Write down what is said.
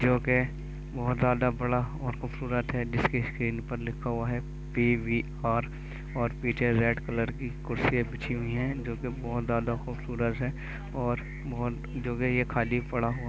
जो के बहोत ज्यादा बड़ा और खूबसूरत है जिसकी स्क्रीन पर लिखा हुआ है पीवीआर और पीछे रेड कलर की कुर्सिया बिछी हुई है जो कि बहोत ज्यादा खुबसूरत है और बहोत जो के ये खाली पड़ा --